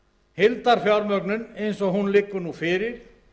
heildarfjármögnun eins og hún liggur nú fyrir